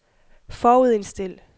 forudindstil